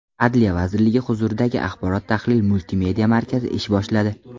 Adliya vazirligi huzuridagi Axborot-tahlil multimedia markazi ish boshladi .